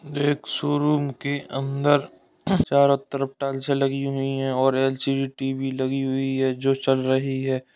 एक शोरूम के अंदर चारों तरफ टाइल्सें लगी हुई हैं और एल.सी.डी. टी.वी. लगी हुई है जो चल रही है।